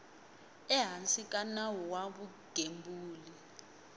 ehansi ka nawu wa vugembuli